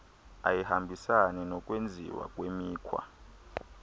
ayihambisani nokwenziwa kwemikhwa